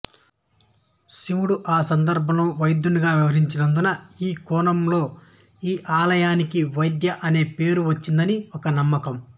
శివుడు ఆ సందర్బంలో వైద్యునిగా వ్యవహరించినందునఈ కోణంలోఈ ఆలయానికి వైద్య అనే పేరు వచ్చిందని ఒక నమ్మకం